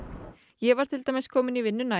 ég var til dæmis komin í vinnuna